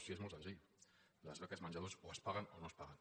si és molt senzill les beques menjador o es paguen o no es paguen